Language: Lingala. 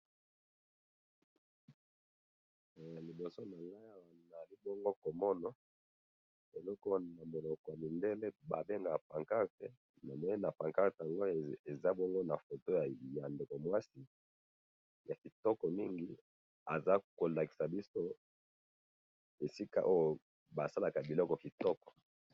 Awa tomoni oyo ba bengaka na munoko ya mindele pancarte,, baza kolakisa biso ndeko ya mwasi aza kolakisa biso misala basalaka.